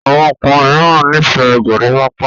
àwọn ọkùnrin míràn n'ifẹ gorimopa